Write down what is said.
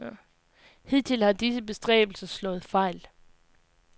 Hidtil har disse bestræbelser slået fejl.